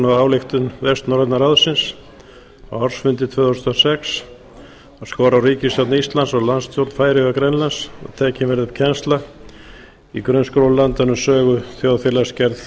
af ályktun vestnorræna ráðsins á ársfundi tvö þúsund og sex að skora á ríkisstjórn íslands og landsstjórnir færeyja og grænlands að tekin verði upp kennsla í grunnskólum landanna um sögu þjóðfélagsgerð